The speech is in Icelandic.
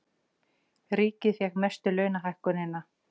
Ríkið fékk mestu launahækkunina